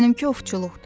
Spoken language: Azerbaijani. Mənimki ovçuluqdur.